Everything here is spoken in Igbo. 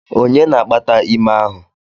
Onye na-akpata ime ahụ?